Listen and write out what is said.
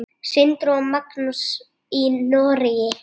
Sindri og Magnús í Noregi.